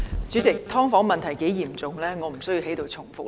主席，"劏房"問題有多嚴重，我無須在此重複。